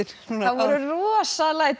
það voru rosaleg læti í